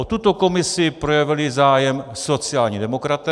O tuto komisi projevili zájem sociální demokraté.